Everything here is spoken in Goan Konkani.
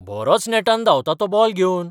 बरोच नेटान धांवता तो बॉल घेवन!